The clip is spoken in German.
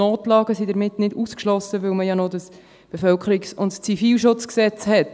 Notlagen sind damit nicht ausgeschlossen, weil man ja noch das KBZG hat.